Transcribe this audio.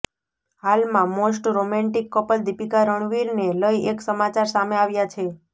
હાલમાં most romantic couple Deepika રણવીરને લઈ એક સમાચાર સામે આવ્યા છે